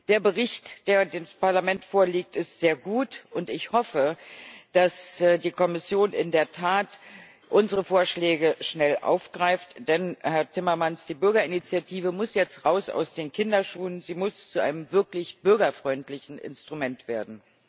Der Bericht, der dem Parlament vorliegt, ist sehr gut, und ich hoffe, dass die die Kommission in der Tat unsere Vorschläge schnell aufgreift, denn, Herr Timmermans, die Bürgerinitiative muss jetzt raus aus den Kinderschuhen, sie muss zu einem wirklich bürgerfreundlichen Instrument werden.